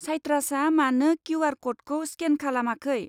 साइट्रासआ मानो किउ.आर. क'डखौ स्केन खालामाखै?